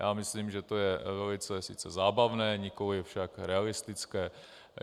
Já myslím, že to je velice sice zábavné, nikoliv však realistické.